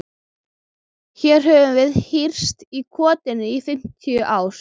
Hér höfum við hírst í kotinu í fimmtán ár.